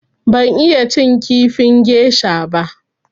Ban iya cin kifin gesha ba.